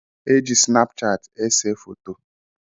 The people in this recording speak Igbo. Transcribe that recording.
Éjị sunapu chati ese fọtọ.